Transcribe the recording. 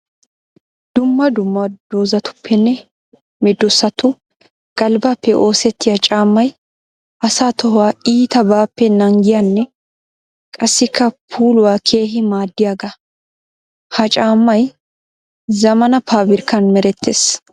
Dumma dumma doozatuppenne meedosattu galbbappe oosetiya caammay asaa tohuwaa iitabappe naagiyanne qassikka puulaw keehi maadiyaaga. Ha caammay zamaana pabirkkan meretees.